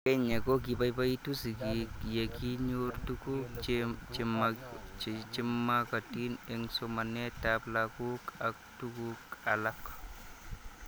Eng'Kenya ko kipaipaitu sig'ik ye kinyor tuguk che magatin eng' somanet ab lakok ak tuguk alak